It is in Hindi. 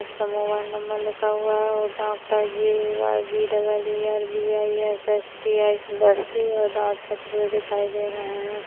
उसका मोबाइल नंबर लिखा हुआ है और doctor J A Y B double E B I S H T I Basti व दांत छपे हुए दिखाई दे रहे है।